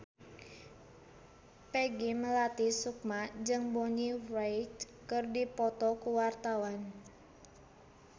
Peggy Melati Sukma jeung Bonnie Wright keur dipoto ku wartawan